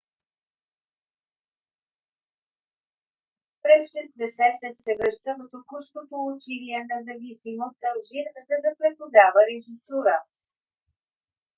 през 60 - те се връща в току-що получилия независимост алжир за да преподава режисура